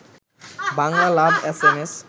Bangla love S M S